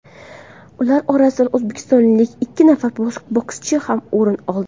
Ular orasidan o‘zbekistonlik ikki nafar bokschi ham o‘rin oldi.